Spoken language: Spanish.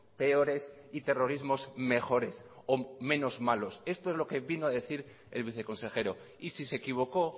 peores y terrorismos mejores o menos malos esto es lo que vino a decir el viceconsejero y si se equivocó